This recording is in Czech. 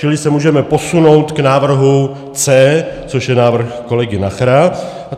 Čili se můžeme posunout k návrhu C, což je návrh kolegy Nachera.